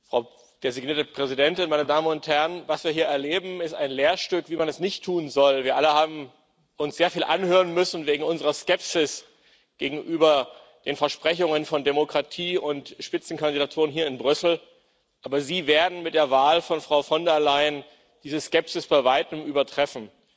Frau designierte Präsidentin, meine Damen und Herren! Was wir hier erleben ist ein Lehrstück, wie man es nicht tun soll. Wir alle haben uns sehr viel anhören müssen wegen unserer Skepsis gegenüber den Versprechungen von Demokratie und Spitzenkandidaturen hier in Brüssel, aber Sie werden mit der Wahl von Frau von der Leyen diese Skepsis bei weitem übertreffen.